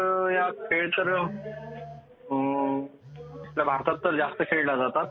cricket ह्या खेळतर आपल्या भारतात जास्त खेळाला जातात